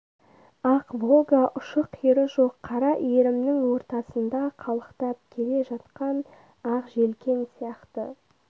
ақ волга ұшы-қиыры жоқ қара иірімнің ортасында қалықтап келе жатқан ақ желкен сияқты